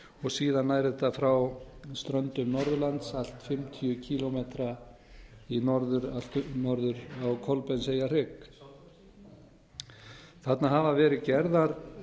og síðan nær þetta frá ströndum norðurlands allt að fimmtíu kílómetra í norður á kolbeinseyjarhrygg þarna hafa verið gerðar